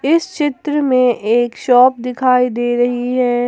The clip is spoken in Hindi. इस चित्र में एक शॉप दिखाई दे रही है ।